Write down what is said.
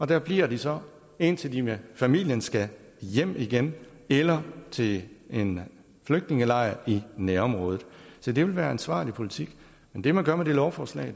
der bliver de så indtil de med familien skal hjem igen eller til en flygtningelejr i nærområdet se det vil være ansvarlig politik men det man gør med det lovforslag